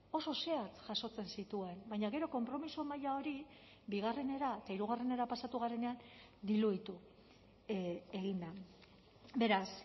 oso zehatz jasotzen zituen baina gero konpromiso maila hori bigarrenera eta hirugarrenera pasatu garenean diluitu egin da beraz